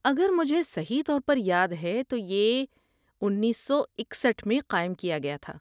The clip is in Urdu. اگر مجھے صحیح طور پر یاد ہے تو یہ اینسو اکسٹھ میں قائم کیا گیا تھا